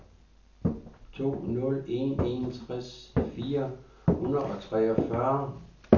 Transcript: to nul en en tres fire hundrede og treogfyrre